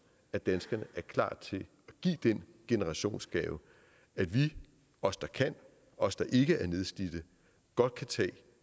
at danskerne er klar til at give den generationsgave at vi os der kan os der ikke er nedslidte godt kan tage